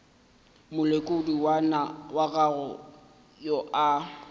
molekodi wa gago yo a